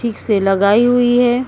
ठीक से लगाई हुई है।